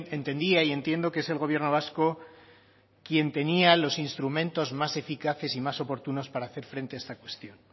entendía y entiendo que es el gobierno vasco quien tenía los instrumentos más eficaces y más oportunos para hacer frente a esta cuestión